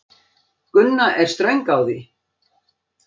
Gunna er ströng á því.